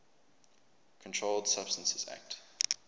controlled substances acte